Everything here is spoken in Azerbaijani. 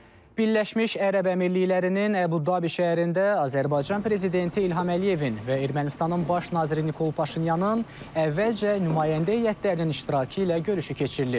Birləşmiş Ərəb Əmirliklərinin Əbu-Dabi şəhərində Azərbaycan prezidenti İlham Əliyevin və Ermənistanın baş naziri Nikol Paşinyanın əvvəlcə nümayəndə heyətlərinin iştirakı ilə görüşü keçirilib.